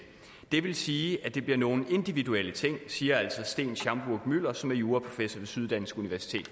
det vil sige at der bliver nogle individuelle ting siger altså sten schaumburg müller som er juraprofessor ved syddansk universitet